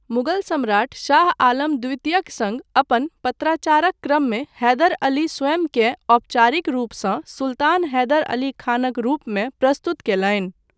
मुगल सम्राट शाह आलम द्वितीयक सङ्ग अपन पत्राचारक क्रममे हैदर अली स्वयंकेँ औपचारिक रूपसँ सुल्तान हैदर अली खानक रूपमे प्रस्तुत कयलनि।